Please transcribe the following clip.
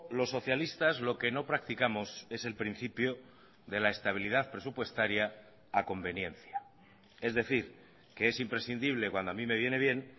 los socialistas lo que no practicamos es el principio de la estabilidad presupuestaria a conveniencia es decir que es imprescindible cuando a mí me viene bien